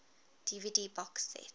dvd box set